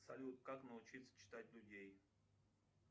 салют как научиться читать людей